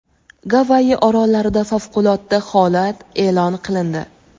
Gavayi orollarida favqulodda holat e’lon qilindi.